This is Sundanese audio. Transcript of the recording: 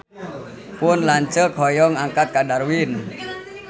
Pun lanceuk hoyong angkat ka Darwin